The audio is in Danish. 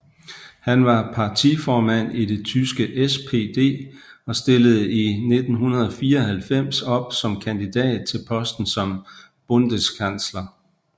Han var partiformand i det tyske SPD og stillede i 1994 op som kandidat til posten som Bundeskansler